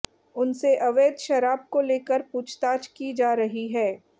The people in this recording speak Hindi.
उनसे अवैध शराब को लेकर पूछताछ की जा रही है